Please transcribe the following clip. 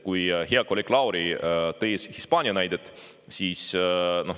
Hea kolleeg Lauri tõi Hispaania näite.